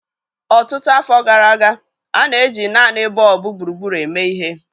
Ọtụtụ afọ gara aga, a na-eji naanị bọlbụ gburugburu eme ihe.